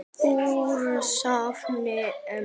Úr safni EM.